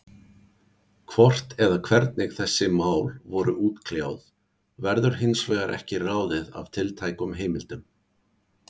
Hvort eða hvernig þessi mál voru útkljáð, verður hins vegar ekki ráðið af tiltækum heimildum.